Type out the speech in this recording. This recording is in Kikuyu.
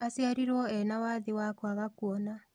Aciarirwo ena wathe wa kwaga kuona